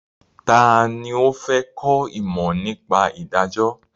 Ta ni ó fẹ́ kọ́ ìmọ̀ nípa ìdájọ́?